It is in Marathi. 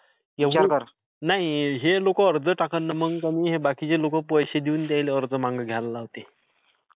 नाही हे लोक अर्ज टाकन आणि मग बाकीचे लोक पैसे देऊन त्यायले अर्ज मागे घ्यायला लावतेत.